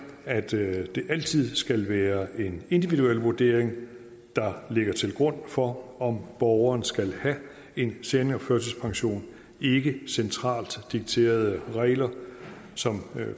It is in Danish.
at det altid skal være en individuel vurdering der ligger til grund for om borgeren skal have en seniorførtidspension ikke centralt dikterede regler som